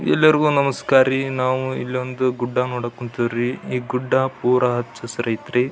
ಎಲ್ಲರಿಗೂ ನಮಸ್ಕಾರಿ ನಾವು ಇಲ್ಲಿ ಒಂದು ಗುಡ್ಡ ನೋಡಕ್ ಹೊಂತೀವ್ರಿ ಈ ಗುಡ್ಡ ಪೂರಾ ಹಚ್ಚ ಹಸಿರು ಅಯ್ತ್ರಿ --